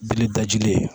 Bilitaji ye